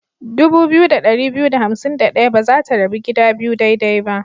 Dubu biyu da ɗari biyu da hansim da ɗaya ba za ta rabu gida biyu daidai ba.